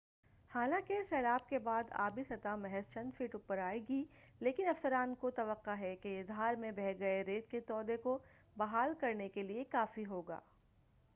حالانکہ سیلاب کے بعد آبی سطح محض چند فٹ اوپر آئے گا لیکن افسران کو توقع ہے کہ یہ دھار میں بہہ گئے ریت کے تودہ کو بحال کرنے کیلئے کافی ہوگا